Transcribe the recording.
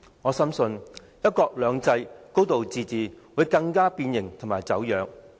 我深信，"一國兩制"、"高度自治"會更加變形和走樣。